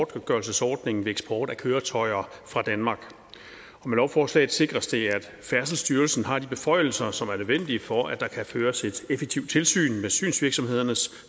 godtgørelsesordningen ved eksport af køretøjer fra danmark med lovforslaget sikres det at færdselsstyrelsen har de beføjelser som er nødvendige for at der kan føres et effektivt tilsyn med synsvirksomhedernes